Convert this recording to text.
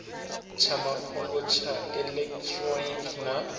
tsha mafhungo tsha elekitironiki na